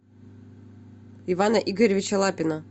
ивана игоревича лапина